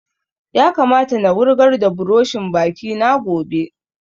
Ya kamata na wurgar da buroshin baki na gobe